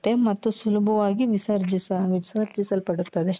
ಮತ್ತು ಸುಲಭವಾಗಿ ವಿಸರ್ಜಿಸ ವಿಸರ್ಜಿಸಲ್ಪಡುತ್ತದೆ .